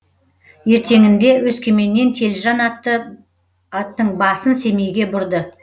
ертеңінде өскеменнен телжан аттың басын семейге бұрды